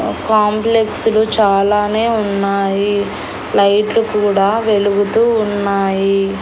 Complex లు చాలానే ఉన్నాయి లైట్లు కూడా వెలుగుతూ ఉన్నాయి.